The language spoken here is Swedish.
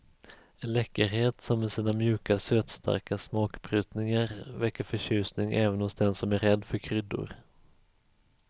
En läckerhet som med sina mjuka sötstarka smakbrytningar väcker förtjusning även hos den som är rädd för kryddor.